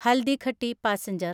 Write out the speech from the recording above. Haldighati passenger